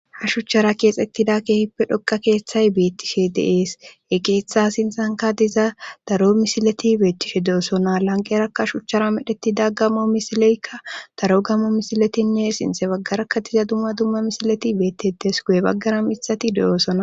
ha shuchchara keexettida keehippe dhokka keeththay beettishe deees eki itha sinsanka diza daro misileti beettishe de7osona lanqerakka shuchchara medheti daggamo misileykka daro gammo misiletinne sinte baggarakka diza dumma dumma misileti beettedes gu7e baggara misati de7osona